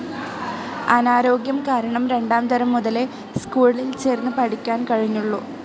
അനാരോഗ്യം കാരണം രണ്ടാം തരം മുതലേ സ്കൂളിൽ ചേർന്ന് പഠിക്കാൻ കഴിഞ്ഞുള്ളൂ.